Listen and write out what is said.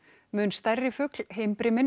mun stærri fugl